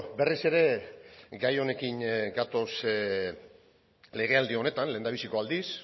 berriz ere gai honekin ez gatoz ere legealdi honetan lehendabiziko aldiz